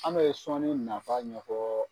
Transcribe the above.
An bɛ sɔnni nafa ɲɛfɔ